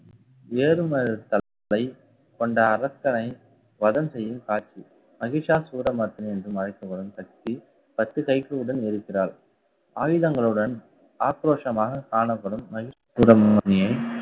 ஏறு தளத்தை கொண்ட அரக்கனை வதம் செய்யும் காட்சி. மகிஷாசூரமர்த்தினி என்றும் அழைக்கப்படும் சக்தி பத்து கைகளுடன் இருக்கிறாள் ஆயுதங்களுடன் ஆக்ரோஷமாக காணப்படும். மகிஷாசூரமர்த்தினியை